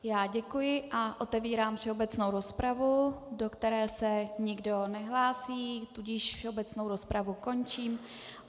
Já děkuji a otevírám všeobecnou rozpravu, do které se nikdo nehlásí, tudíž všeobecnou rozpravu končím.